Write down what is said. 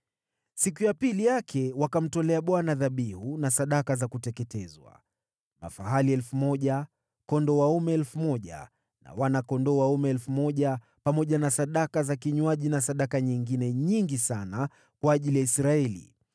Siku ya pili yake wakamtolea Bwana dhabihu na sadaka za kuteketezwa: mafahali 1,000, kondoo dume 1,000 na wana-kondoo dume 1,000, pamoja na sadaka za kinywaji na sadaka nyingine nyingi sana kwa ajili ya Israeli.